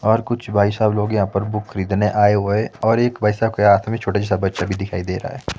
और कुछ भाई साहब लोग यहां पर बुक खरीदने आए हुए और एक वैसा के आदमी छोटे जैसा बच्चा भी दिखाई दे रहा--